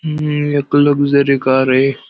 हि एक luxury car आहे.